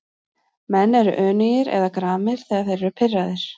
Menn eru önugir eða gramir þegar þeir eru pirraðir.